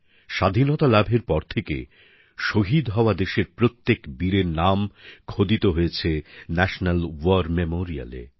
স্বাধীনতা লাভের পর থেকে শহীদ হওয়া দেশের প্রত্যেক বীরের নাম খোদিত হয়েছে ন্যাশনাল ওয়ার মেমোরিয়ালে